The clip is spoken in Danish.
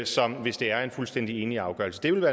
som hvis det er en fuldstændig enig afgørelse det ville